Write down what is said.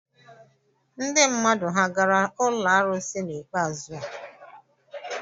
Ndị mmadụ ha gara ụlọ arụsị n'ikpeazu a?